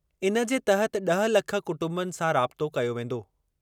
इन जे तहत ड॒ह लख कुटंबनि सां राबितो कयो वेंदो।